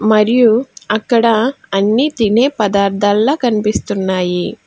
మరియు అక్కడ అన్ని తినే పద్దర్తల కనిపిస్తున్నాయి.